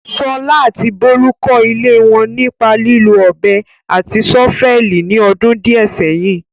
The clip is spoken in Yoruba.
Sola àti Bolu kọ́ ilé wọn nípa lílo ọ̀bẹ àti ṣọ́fẹ́ẹ̀lì ní ọdún díẹ̀ sẹ́yìn.